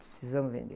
Precisamos vender.